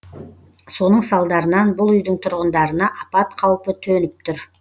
соның салдарынан бұл үйдің тұрғындарына апат қаупі төніп тұр